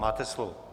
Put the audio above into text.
Máte slovo.